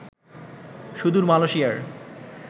সুদূর মালয়েশিয়ার